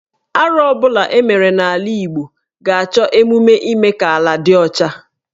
Arụ ọ bụla e mere n’ala Igbo ga-achọ emume ime ka ala dị ọcha